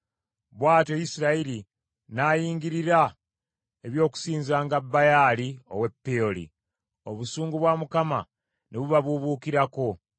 Bw’atyo Isirayiri n’ayingirira eby’okusinzanga Baali ow’e Peoli. Obusungu bwa Mukama ne bubabuubuukirako.